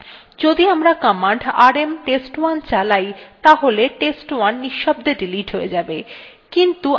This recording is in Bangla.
যদি আমরা কমান্ড rm test1 চালাই তাহলে test1 নিঃশব্দে ডিলিট হয়ে যাবে